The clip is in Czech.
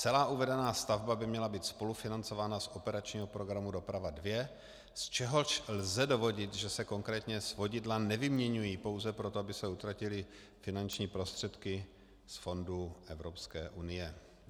Celá uvedená stavba by měla být spolufinancována z operačního programu Doprava 2, z čehož lze dovodit, že se konkrétně svodidla nevyměňují pouze proto, aby se utratily finanční prostředky z fondů Evropské unie.